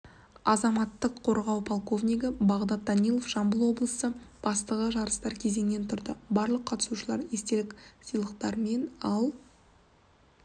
азаматтық қорғау полковнигі багдат данилов жамбыл облысы бастығы жарыстар кезеңнен тұрды барлық қатысушылар естелік сыйлықтармен ал